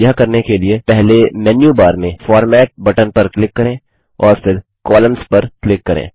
यह करने के लिए पहले मेन्यू बार में फॉर्मेट बटन पर क्लिक करें और फिर कोलम्न्स पर क्लिक करें